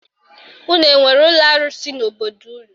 Unu enwere ụlọ arụsị n'obodo unu?